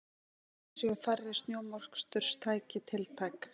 Einnig séu færri snjómoksturstæki tiltæk